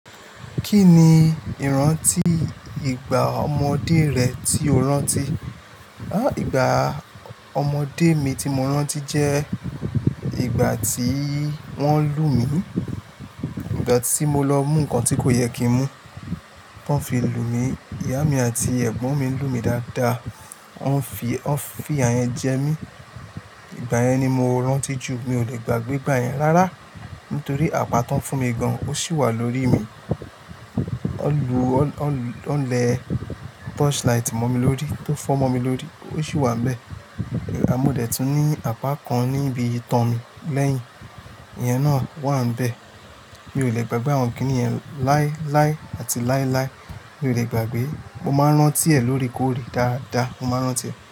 Kí ni ìrántí ìgbà ọmọdé rẹ tí o rántí? Ìgbà ọmọdé mi tí mo rántí jẹ́ ìgbà tí wọ́n lu mí. Ìgbà tí mo lọ mú nǹkan tí kò yẹ kí n mú, tọ́n fi lu mí. Ìyá mi àti ẹ̀gbọ́n mi lu mí dáadáa. Wọ́n fi, wọ́n fi ìyà yẹn jẹ mí. Ìgbà yẹn ni mo rántí jù. Mi ò lè gbàgbé ìgbà yẹn rárá nítorí apá tóń fún mi gan ó sì wà lórí mi. Wọ́n lu, o, o, wọ́n le torchlight mọ́ mi lórí, tó fọ́ mọ́ mi lórí, ó sì wà ń bẹ́ẹ̀. A modẹ̀ tún ní apá kan níbi ìtàn mi lẹ́yìn. Ìyẹn náà wà bẹ́ẹ̀. Mi ò lè gbàgbé àwọn kiní yẹn láíláí àti láíláí. Mi ò lè gbàgbé. Mo máa ń rántí ẹ̀ lóòrèkóòrè dáadáa. Mo máa ń rántí ẹ̀.